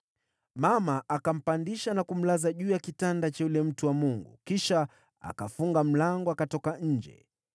Mama akampandisha na kumlaza juu ya kitanda cha yule mtu wa Mungu, kisha akafunga mlango, akatoka nje.